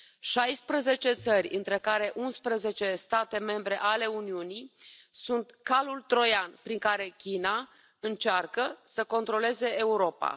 Șaisprezece țări, între care unsprezece state membre ale Uniunii, sunt calul troian prin care China încearcă să controleze Europa.